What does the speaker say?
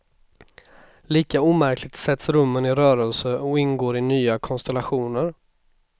Lika omärkligt sätts rummen i rörelse och ingår i nya konstellationer.